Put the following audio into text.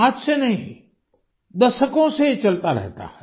आज से नहीं दशकों से ये चलता रहता है